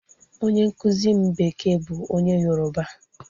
Onye nkuzi m bekee bu nwoke yoruba.